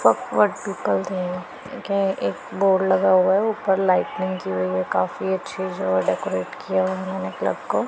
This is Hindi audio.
पॉप आर्टिपल दिए हुए देखिए एक बोर्ड लगा हुआ है ऊपर लाइटनिंग हुई है काफी अच्छी जो डेकोरेट किया हुआ मैंने क्लब को--